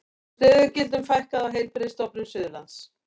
Stöðugildum fækkar á Heilbrigðisstofnun Suðurlands